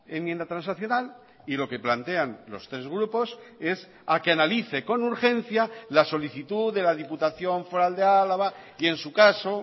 enmienda transaccional y lo que plantean los tres grupos es a que analice con urgencia la solicitud de la diputación foral de álava y en su caso